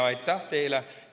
Aitäh teile!